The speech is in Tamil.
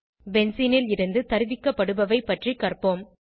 பென்சீனில் இருந்து தருவிக்கப்படுபவை பற்றி கற்போம்